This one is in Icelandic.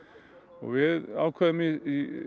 og við ákváðum í